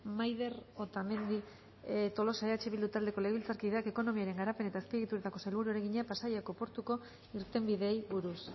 maider otamendi tolosa eh bildu taldeko legebiltzarkideak ekonomiaren garapen eta azpiegituretako sailburuari egina pasaiako porturako irtenbideei buruz